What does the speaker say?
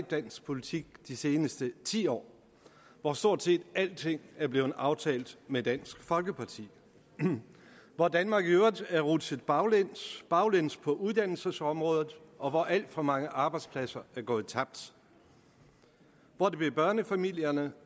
dansk politik de seneste ti år hvor stort set alting er blevet aftalt med dansk folkeparti hvor danmark i øvrigt er rutsjet baglæns baglæns på uddannelsesområdet og hvor alt for mange arbejdspladser er gået tabt hvor det bliver børnefamilierne